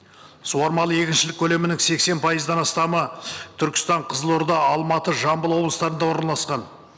суармалы егіншілік көлемінің сексен пайыздан астамы түркістан қызылорда алматы жамбыл облыстарында орналасқан